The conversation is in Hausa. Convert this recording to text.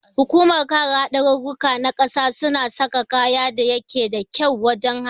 Hukumar kare hadarurruka na ƙasa suna sa kaya da yake da kyau wajan haɗi